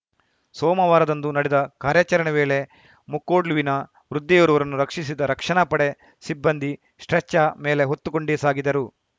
ಸೋಮವಾರದಂದು ನಡೆದ ಕಾರ್ಯಾಚರಣೆ ವೇಳೆ ಮುಕ್ಕೋಡ್ಲುವಿನ ವೃದ್ಧೆಯೊರ್ವರನ್ನು ರಕ್ಷಿಸಿದ ರಕ್ಷಣಾ ಪಡೆ ಸಿಬ್ಬಂದಿ ಸ್ಪ್ರೇಚ ಮೇಲೆ ಹೊತ್ತುಕೊಂಡೇ ಸಾಗಿದರು